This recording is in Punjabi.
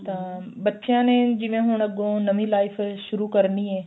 ਤਾਂ ਬੱਚਿਆ ਨੇ ਜਿਵੇਂ ਹੁਣ ਅੱਗੋ ਨਵੀੰ life ਸ਼ੁਰੂ ਕਰਨੀ ਏ